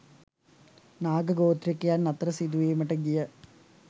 නාග ගෝත්‍රිකයින් අතර සිදුවීමට ගිය